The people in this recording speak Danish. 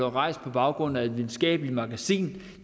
rejst på baggrund af et videnskabeligt magasin